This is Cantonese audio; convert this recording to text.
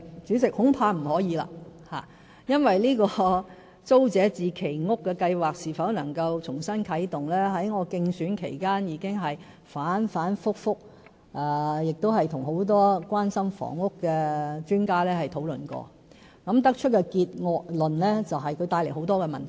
主席，恐怕不可以，因為就租者置其屋計劃是否能夠重新啟動的問題，我在競選期間已經反反覆覆，亦跟很多關心房屋的專家討論過，得出的結論就是，這會帶來很多問題。